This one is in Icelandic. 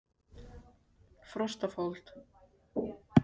Frostafold